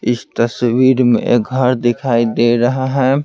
इस तस्वीर में घर दिखाई दे रहा है।